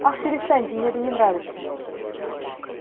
ах перестаньте мне это не нравится